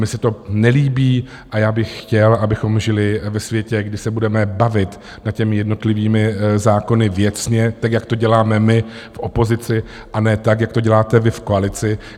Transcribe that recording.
Mně se to nelíbí a já bych chtěl, abychom žili ve světě, kde se budeme bavit nad těmi jednotlivými zákony věcně tak, jako to děláme my v opozici, a ne tak, jak to děláte vy v koalici.